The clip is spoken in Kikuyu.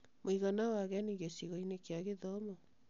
Mũigana wa ageni gĩcigo-inĩ kĩa gĩthomo